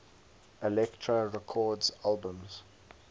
elektra records albums